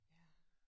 Ja